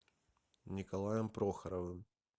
николаем прохоровым